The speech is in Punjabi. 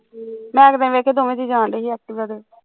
ਮੈਂ ਇੱਕ ਦਿਨ ਦੇਖੀ ਦੋਵੇ ਜੀਅ ਜਾਣ ਡਏ ਸੀ activa ਤੇ